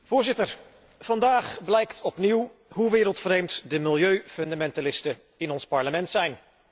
Voorzitter, vandaag blijkt opnieuw hoe wereldvreemd de milieufundamentalisten in ons Parlement zijn.